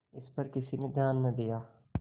इस पर किसी ने ध्यान न दिया